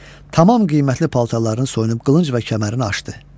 Tamam qiymətli paltarını soyunub qılınc və kəmərini açdı.